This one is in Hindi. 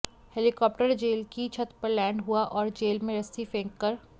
हेलीकॉप्टर जेल की छत पर लैंड हुआ और जेल में रस्सी फेंककर